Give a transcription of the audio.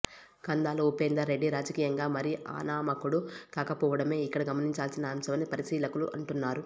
కందాళ ఉపేందర్ రెడ్డి రాజకీయంగా మరీ అనామకుడు కాకపోవడమే ఇక్కడ గమనించాల్సిన అంశమని పరిశీలకులు అంటున్నారు